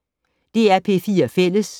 DR P4 Fælles